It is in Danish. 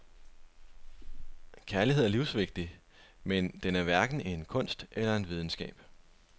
Kærlighed er livsvigtig, men den er hverken en kunst eller en videnskab.